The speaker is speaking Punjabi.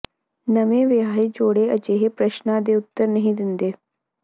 ਨਵੇਂ ਵਿਆਹੇ ਜੋੜੇ ਅਜਿਹੇ ਪ੍ਰਸ਼ਨਾਂ ਦੇ ਉੱਤਰ ਨਹੀਂ ਦਿੰਦੇ